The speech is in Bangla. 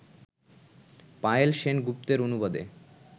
পায়েল সেন গুপ্তের অনুবাদে